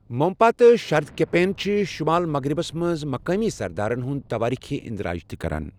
مونپا تہٕ شردٗكپین چِھ شُمال مغرِبس منٛز مقٲمی سردارن ہنٛد تواریخی اندراج تہِ كران ۔